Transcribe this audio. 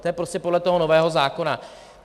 To je prostě podle toho nového zákona.